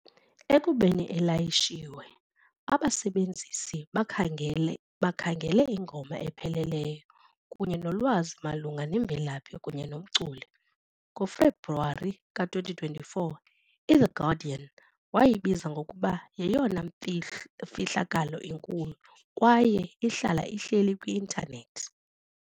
Ekubeni ilayishiwe, abasebenzisi bakhangele ingoma epheleleyo kunye nolwazi malunga nemvelaphi kunye nomculi. NgoFebruwari ka-2024, "iThe Guardian" wayibiza ngokuba "yeyona mfihlakalo inkulu kwaye ihlala ihleli kwi-intanethi".